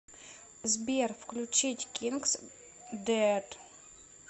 сбер включить кингс дэд